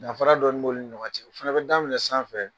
Danfara dɔ bɛ olu ni ɲɔgɔn cɛ , u fana bɛ daminɛ sanfɛ.